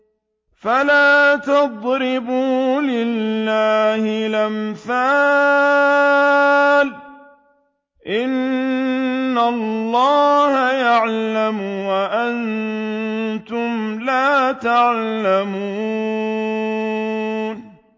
فَلَا تَضْرِبُوا لِلَّهِ الْأَمْثَالَ ۚ إِنَّ اللَّهَ يَعْلَمُ وَأَنتُمْ لَا تَعْلَمُونَ